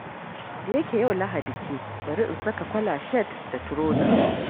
Da yake yau Lahadi ce, bari in saka kwala-shat da turoza.